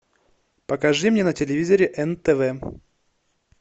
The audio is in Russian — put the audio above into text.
покажи мне на телевизоре нтв